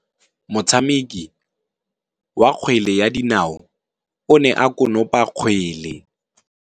Motshameki wa kgwele ya dinaô o ne a konopa kgwele.